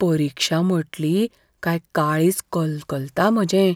परिक्षा म्हटली कांय काळींज कलकलता म्हजें.